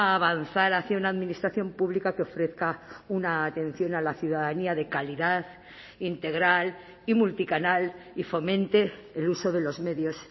avanzar hacia una administración pública que ofrezca una atención a la ciudadanía de calidad integral y multicanal y fomente el uso de los medios